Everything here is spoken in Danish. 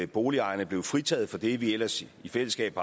boligejerne blev fritaget for det vi ellers i fællesskab